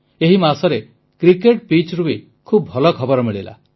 ଏହି ମାସରେ କ୍ରିକେଟ ପିଚ୍ରୁ ବି ଖୁବ ଭଲ ଖବର ମିଳିଲା